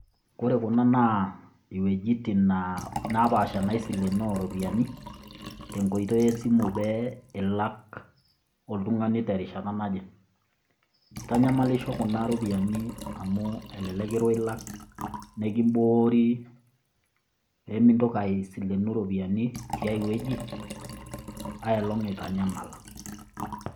Ore kuna naa iwuejitin naapasha naisileenoo irupiani te nkoitoi e simu pee ilak oltung'ani te rishata naaje. Eitanyamalisho kuna rupiani amu elelek kirwa ilak nekimboori pee mintoki aomon irupiani tiai wueji ailong' itanyamala.